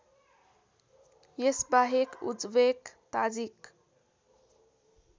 यसबाहेक Uzbek Tajik